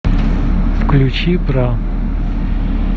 включи бра